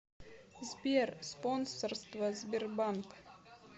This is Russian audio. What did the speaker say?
сбер спонсорство сбербанк